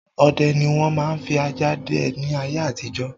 Ọdẹ ni wọn máa ń fi ajá dẹ ni ayé àtijọ́.